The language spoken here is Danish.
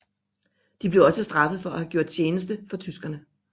De blev også straffet for at have gjort tjeneste for tyskerne